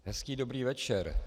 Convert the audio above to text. Hezký dobrý večer.